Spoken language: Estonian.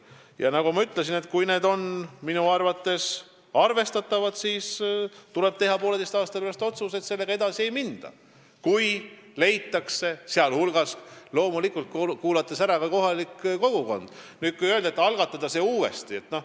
Ja nagu ma ütlesin, kui uurimused on olemas ja arvestatavad ning on kuulatud ära ka kohalik kogukond, siis tuleb poolteise aasta pärast teha otsus, kuidas sellega edasi minna.